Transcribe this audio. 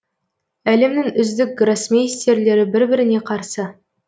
әлемнің үздік гроссмейстерлері бір біріне қарсы